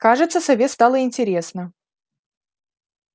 кажется сове стало интересно